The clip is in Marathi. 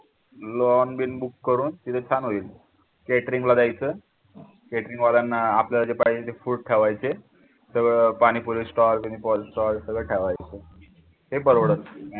lawn been book करून तिथे छान होईल catering ला द्यायचं catering वाल्यांना आपल्याला जे पाहिजे ते food ठेवायचे तर पाणी पाणीपुरी stall सगळे ठेवायचे ते परवडत